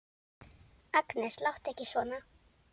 Agnes, láttu ekki svona!